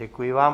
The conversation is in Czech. Děkuji vám.